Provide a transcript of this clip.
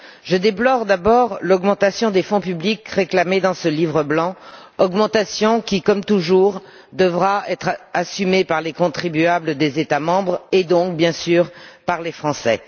Je déplore d'abord l'augmentation des fonds publics réclamée dans ce livre blanc, augmentation qui, comme toujours, devra être assumée par les contribuables des États membres et donc, bien sûr, par les Français.